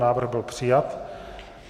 Návrh byl přijat.